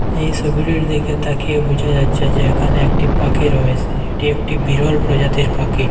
এই সবিটির দিকে তাকিয়ে বোঝা যাচ্ছে যে এখানে একটি পাখি রয়েসে এটি একটি বিরল প্রজাতির পাখি।